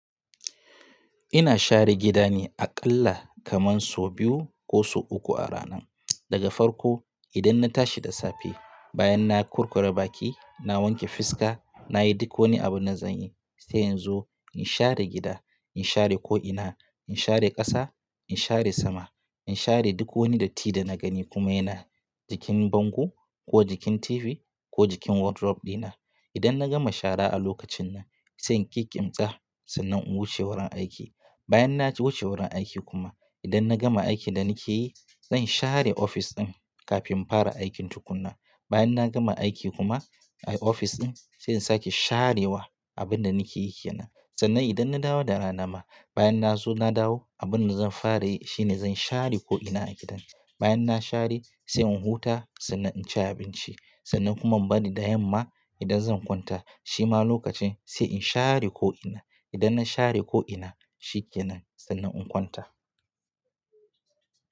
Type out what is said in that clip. Ina share gida ne aƙalla kaman so biyu ko so uku a rana. Daga farko idan na tashi da safe, bayan na kurkura baki, na wanke fiska, nayi duk wani abin na zan yi. Sai inzo in share gida, in share ko'ina, in share ƙasa, in share sama, in share duk wani datti da na gani kuma yana jikin bango ko jikin TV ko jikin wardrobe dina. Idan na gama shara a lokacin nan, sai in ƙi ƙimtsa sannan in wuce wurin aiki. Bayan na wuce wurin aiki kuma idan na gama aikin da nake yi, zan share ofis ɗin kafin in fara aikin tukuna. Bayan na gama aiki kuma a ofis ɗin, sai in sake sharewa abin da nake yi ke nan. Sannan idan na dawo da rana ma, bayan na zo na dawo, abin da zan fara yi shine zan share ko'ina a gidan. Bayan na share sai in huta sannan in ci abinci sannan kuma banida yamma idan zan kwanta shima lokacin sai in share ko'ina. Idan na share ko'ina, shi kenan sannan in kwanta.